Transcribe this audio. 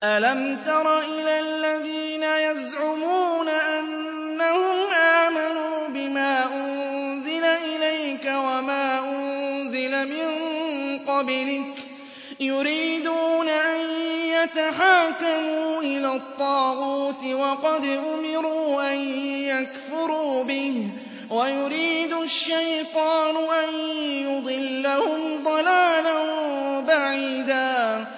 أَلَمْ تَرَ إِلَى الَّذِينَ يَزْعُمُونَ أَنَّهُمْ آمَنُوا بِمَا أُنزِلَ إِلَيْكَ وَمَا أُنزِلَ مِن قَبْلِكَ يُرِيدُونَ أَن يَتَحَاكَمُوا إِلَى الطَّاغُوتِ وَقَدْ أُمِرُوا أَن يَكْفُرُوا بِهِ وَيُرِيدُ الشَّيْطَانُ أَن يُضِلَّهُمْ ضَلَالًا بَعِيدًا